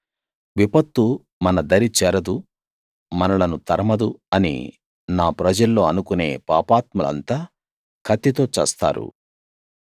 విపత్తు మన దరి చేరదు మనలను తరమదు అని నా ప్రజల్లో అనుకునే పాపాత్ములంతా కత్తితో చస్తారు